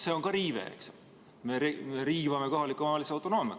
See on ka riive, me riivame kohaliku omavalitsuse autonoomiat.